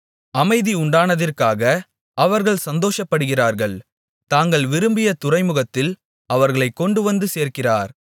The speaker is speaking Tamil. அமைதி உண்டானதிற்காக அவர்கள் சந்தோஷப்படுகிறார்கள் தாங்கள் விரும்பிய துறைமுகத்தில் அவர்களைக் கொண்டுவந்து சேர்க்கிறார்